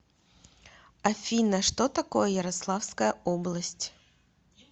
афина что такое ярославская область